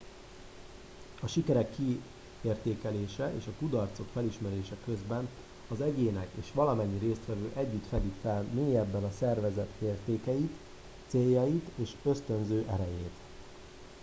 a sikerek kiértékelése és a kudarcok felismerése közben az egyének és valamennyi résztvevő együtt fedik fel mélyebben a szervezet értékeit céljait és ösztönző erejét